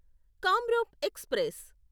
Kamrup express